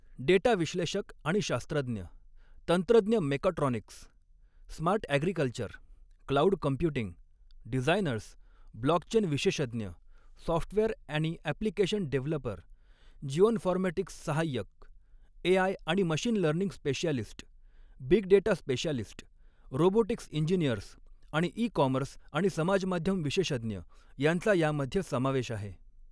Data विश्लेषक आणि शास्त्रज्ञ, तंत्रज्ञ mechatronics, smart agriculture, cloud computing, designers, blockchain विशेषज्ञ, सॉफ्टवेअर आणि अॅप्लिकेशन डेव्हलपर, जिओनफॉरमॅटिक्स सहाय्यक, एआय आणि machine learning specialist, big data specialist, robotics engineers आणि ई कॉमर्स आणि समाजमाध्यम विशेषज्ञ यांचा यामध्ये समावेश आहे.